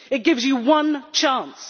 it gives you one chance.